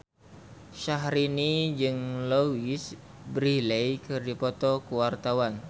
Syahrini jeung Louise Brealey keur dipoto ku wartawan